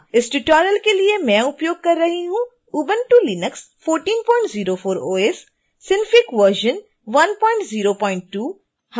इस tutorial के लिए मैं उपयोग कर रही हूँ